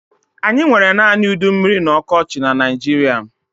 Anyị nwere naanị udummiri na ọkọchị na Naijiria.